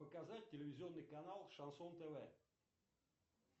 показать телевизионный канал шансон тв